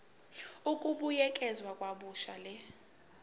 ukubuyekeza kabusha le